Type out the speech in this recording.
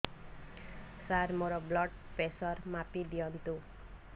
ସାର ମୋର blood pressure ମାପି ଦିଅନ୍ତୁ